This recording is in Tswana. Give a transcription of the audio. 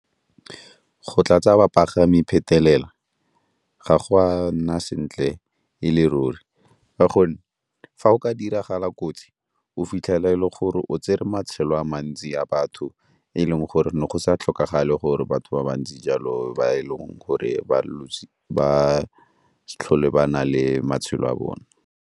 Go tlatsa bapagami phetelela ga go a nna sentle e le ruri ka gonne fa o ka diragala kotsi o fitlhela e le gore o tsere matshelo a mantsi a batho, e leng gore ne go sa tlhokagale gore batho ba ba ntsi jalo ba e leng gore ba sa tlhole ba na le matshelo a bone.